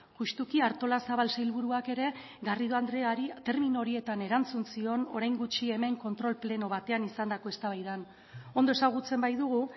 justuki artolazabal sailburuak ere garrido andreari termino horietan erantzun zion orain gutxi hemen kontrol pleno batean izandako eztabaidan ondo ezagutzen baitugu